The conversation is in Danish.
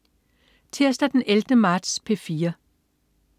Tirsdag den 11. marts - P4: